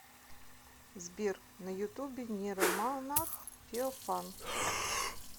сбер на ютубе нейромонах феофан